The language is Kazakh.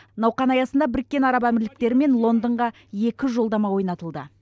науқан аясында біріккен араб әмірліктері мен лондонға екі жолдама ойнатылды